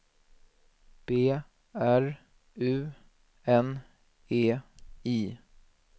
B R U N E I